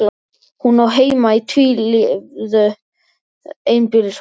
Hún á heima í tvílyftu einbýlishúsi.